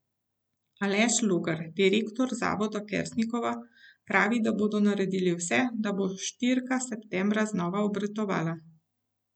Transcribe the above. Aleš Logar, direktor zavoda Kersnikova, pravi, da bodo naredili vse, da bo štirka septembra znova obratovala.